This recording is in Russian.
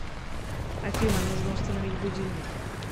афина нужно установить будильник